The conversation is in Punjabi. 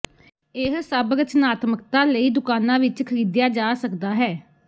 ਇਹ ਸਭ ਰਚਨਾਤਮਕਤਾ ਲਈ ਦੁਕਾਨਾ ਵਿੱਚ ਖਰੀਦਿਆ ਜਾ ਸਕਦਾ ਹੈ